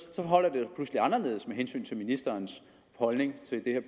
er anderledes med hensyn til ministerens holdning til det